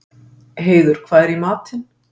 Heiður, hvað er í matinn?